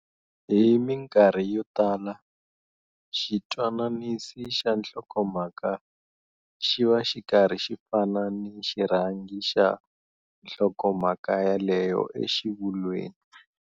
Hi minkarhi yo tala, xitwananisi xa nhlokomhaka xi va xi karhi xi fana ni xirhangi xa nhlokombhaka ya leyo exivulweni.